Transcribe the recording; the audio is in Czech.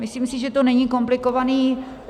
Myslím si, že to není komplikovaný -